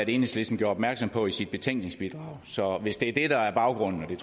enhedslisten gjorde opmærksom på i sit betænkningsbidrag så hvis det er det der er baggrunden det